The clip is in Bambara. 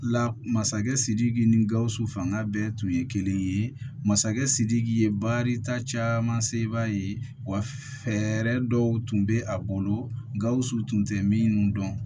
La masakɛ sidiki ni gawusu fanga bɛɛ tun ye kelen ye masakɛ sidiki ye baarita caman se i b'a ye wa fɛɛrɛ dɔw tun be a bolo gawusu tun tɛ min dɔn